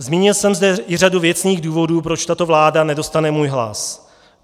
Zmínil jsem zde i řadu věcných důvodů, proč tato vláda nedostane můj hlas.